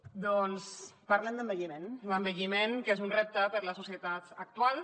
doncs parlem d’envelliment l’envelliment que és un repte per a les societats actuals